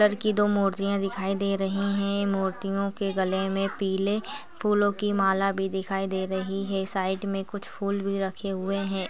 र की दो मूर्तियाँ दिखाई दे रही हैं मूर्तियों के गले में पीले फूलों की माला भी दिखाई दे रही हैं साइड में कुछ फूल भी रखे हुए हैं।